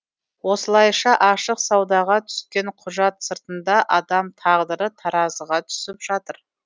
осылайша ашық саудаға түскен құжат сыртында адам тағдыры таразыға түсіп жатыр